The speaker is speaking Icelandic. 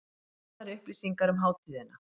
Nánari upplýsingar um hátíðina